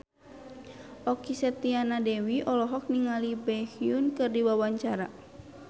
Okky Setiana Dewi olohok ningali Baekhyun keur diwawancara